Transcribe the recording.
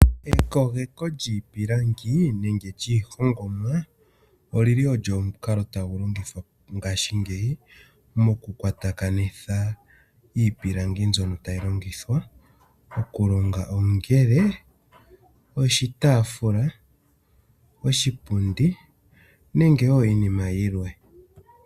Ekogeko lyiipilangi nenge lyiihongomwa olyili olyo omukalo tagu longithwa mongashingeyi mokukwatakanitha iipilangi mbyono tayi longithwa okulonga ongele oshitaafula, oshipundi nenge wo iinima yilwe.